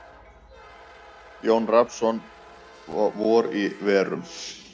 Jón Rafnsson: Vor í verum.